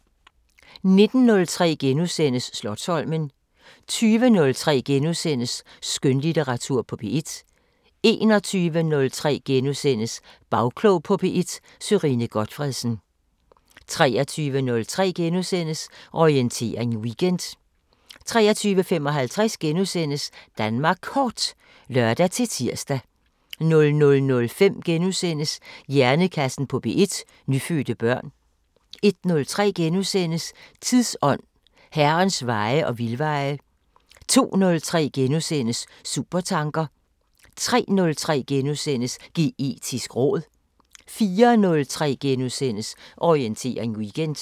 19:03: Slotsholmen * 20:03: Skønlitteratur på P1 * 21:03: Bagklog på P1: Sørine Gotfredsen * 23:03: Orientering Weekend * 23:55: Danmark Kort *(lør-tir) 00:05: Hjernekassen på P1: Nyfødte børn * 01:03: Tidsånd: Herrens veje og vildveje * 02:03: Supertanker * 03:03: Geetisk råd * 04:03: Orientering Weekend *